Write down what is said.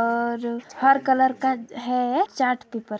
और हर कलर का है ये चार्ट पेपर --